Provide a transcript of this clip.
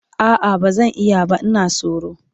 a'a bazan iya ba Ina tsoro